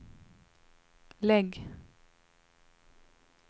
lägg